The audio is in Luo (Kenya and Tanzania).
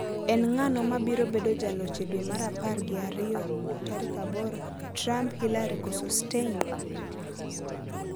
En ng'ano mabiro bedo jaloch e dwe mar apar gi ariyo 8: Trump, Hillary koso Stein?